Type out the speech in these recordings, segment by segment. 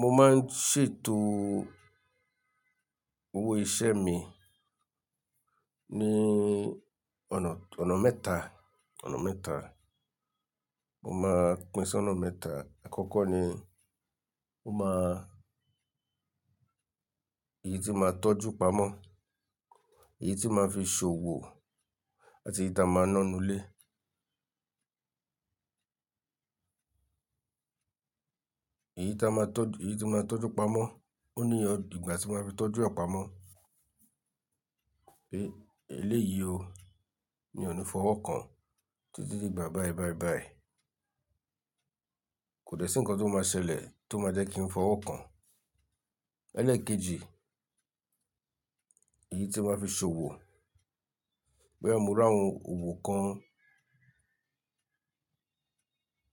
Mo máa ń ṣètò owó iṣẹ́ mi ní ọ̀nà, ọ̀nà mẹ́ta, ọ̀nà mẹ́ta. Mo máa pín sí ọ̀nà mẹ́ta. Àkọ́kọ́ ni mo máa, èyí tí máa tọ́jú pamọ́, èyí tí màá fi ṣòwò àti èyí tí a máa ná nu ilé. Èyí tí a máa tọ́jú, èyí tí màá tọ́jú pamọ́, ó ní ìgbà tí màá fi tọ́jú àpamọ́ pé eléyìí o ni ò ní fọwọ́ kan títí di ìgbà báì báì báì. Kò dẹ̀ sí nǹkan tó máa ṣẹlẹ̀ tó máa jẹ́ kí n fọwọ́ kan. Ẹlẹ́ẹ̀kejì, èyí tí màá fi ṣòwò. Bóyá mo ri àwọn òwò kan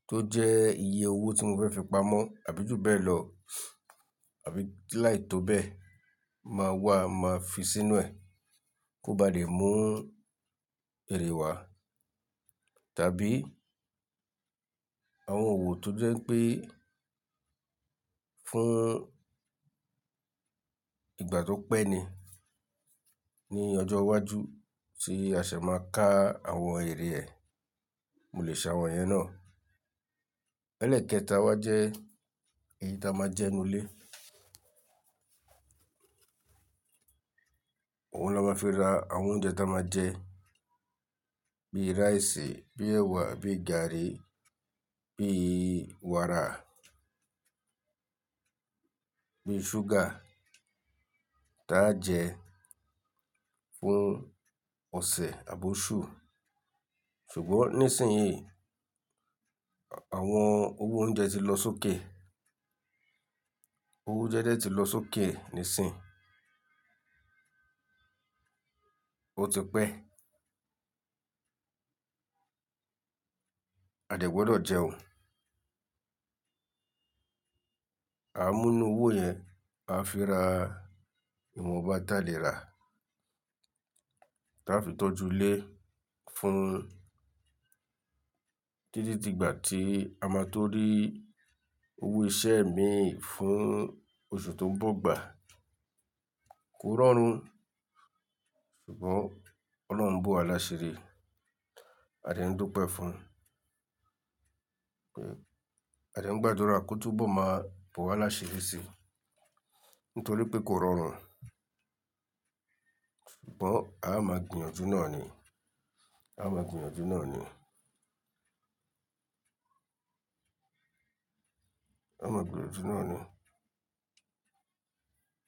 tó jẹ́ iye owó tí mo fẹ́ fi pamọ́ àbí ju bẹ́ẹ̀ lọ, àbí láì tó bẹ́ẹ̀ máa wà máa fi sínú ẹ̀ kó bá lè mú èrè wá. Tàbí àwọn òwò tó jẹ́ pé fún ìgbà tó pẹ́ ni ní ọjọ́ iwájú tí a ṣe máa ká àwọn èrè ẹ, mo lè ṣe àwọn iyẹn náà. Ẹlẹ́ẹ̀kẹta wa jẹ́ èyí tí a máa jẹ nu ilé. Ohun la máa fi ra àwọn oúnjẹ tí a máa jẹ bíi rice, bíi ẹ̀wà, bíi garri, bíi wàrà, bíi ṣúgà tí á jẹ fún ọ̀sẹ̀ àboṣù. Ṣùgbọ́n nísìnyí, àwọn owó oúnjẹ ti lọ sókè. Owó jẹ́jẹ́ ti lọ sókè nísìnyí. Ó ti pẹ́. A dẹ̀ gbọ́dọ̀ jẹun. A mú inú owó yẹn, a fi ra ìwọ̀nba tí a lè rà, tí a fi tọ́jú ilé fún títí di ìgbà tí a máa tó rí. Owó iṣẹ́ mi fún oṣù tó ń bọ̀ gbà. Kò rọrùn ṣùgbọ́n Ọlọ́run ń bọ̀ wá lásẹ rí. A dẹ̀ ń dùn pẹ́ fún un pé a dẹ̀ ń gbàdúrà kó túbọ̀ máa bọ̀ wá lásẹ̀ rí sí nítorí pé kò rọrùn, ṣùgbọ́n a máa gbìyànjú náà ni. A máa gbìyànjú náà ni. A máa gbìyànjú náà ni.